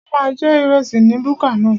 A máa jẹ ìrẹsì ní búkà náà